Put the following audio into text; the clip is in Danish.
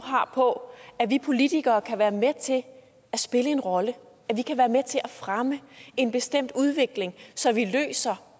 har på at vi politikere kan være med til at spille en rolle at vi kan være med til at fremme en bestemt udvikling så vi løser